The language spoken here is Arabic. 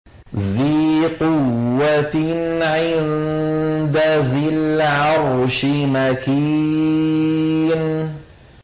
ذِي قُوَّةٍ عِندَ ذِي الْعَرْشِ مَكِينٍ